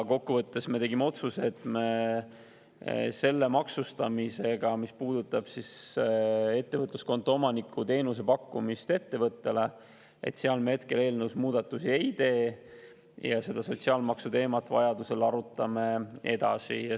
Kokkuvõttes me tegime otsuse, et me seoses selle maksustamisega, mis puudutab ettevõtluskonto omaniku teenuse pakkumist ettevõtjale, hetkel eelnõus muudatusi ei tee ja seda sotsiaalmaksu teemat arutame vajadusel edasi.